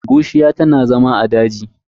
Bushiya tana zama a daji.